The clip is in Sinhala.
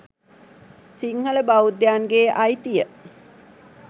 සිංහල බෞද්ධයන්ගේ අයිතිය